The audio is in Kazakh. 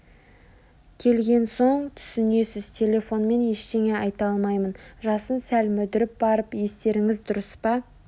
келген соң түсінесіз телефонмен ештеңе айта алмаймын жасын сәл мүдіріп барып естеріңіз дұрыс па